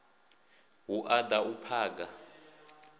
hu u da u phaga